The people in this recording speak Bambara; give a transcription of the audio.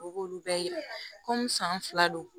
O b'olu bɛɛ yira komi san fila don